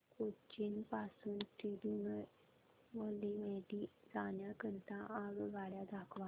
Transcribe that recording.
मला कोचीन पासून तिरूनेलवेली जाण्या करीता आगगाड्या दाखवा